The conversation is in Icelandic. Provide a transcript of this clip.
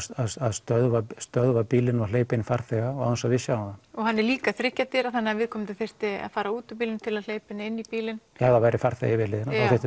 stöðva stöðva bílinn og hleypa inn farþega án þess að við sjáum það og hann er líka þriggja dyra þannig að viðkomandi þyrfti að fara út úr bílnum til að hleypa henni inn í bílinn ef það væri farþegi við hliðina þá þyrfti